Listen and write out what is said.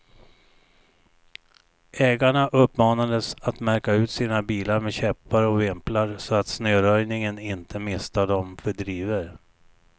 Ägarna uppmanades att märka ut sina bilar med käppar och vimplar, så att snöröjningen inte misstar dem för drivor.